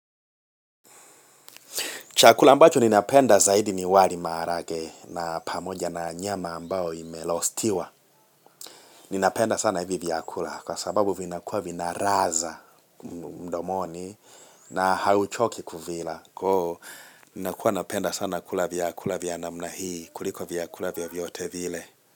Chakula ambacho ninapenda zaidi ni wali maharage na pamoja na nyama ambao imelostiwa. Ninapenda sana hivi vyakula kwa sababu vinakuwa vinaraza mdomoni na hauchoki kuvila. Kuhu, ninakuwa napenda sana kula vyakula vyana mnahii, kuliko vyakula vyote vile.